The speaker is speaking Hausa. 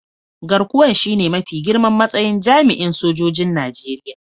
Garkuwan shine mafi girman matsayin jami'in sojoji'n Nijeriya.